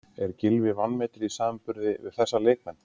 Er Gylfi vanmetinn í samanburði við þessa leikmenn?